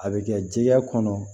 A bɛ kɛ jɛgɛ kɔnɔ